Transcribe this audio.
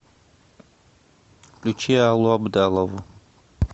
включи аллу абдалову